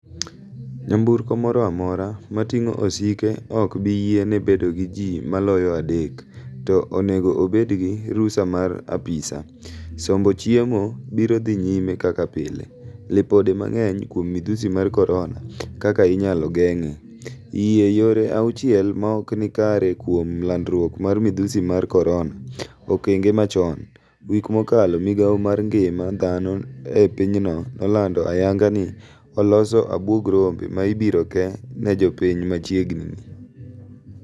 Nyamburko moro amora mating'o osike ok bi yiene bedo gi ji maloyo adek , to onego obed gi rusa mar apisaa. Sombo chiemo biro dhi nyime kaka pile. Lipode mang'eny kuom midhusi mar korona, kaka inyalo geng'e. Yie yore auchiel maokni kare kuom landruok mar midhusi mar korona. Okenge machon. wik mokalo migao mar ngima dhano e pinyno nolando ayanga ni oloso abwog rombe ma ibiro kee ne jopiny machiegni ni.